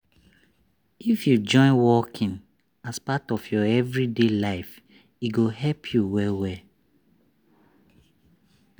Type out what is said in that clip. if you join walking as part of your everyday life e go help you well well.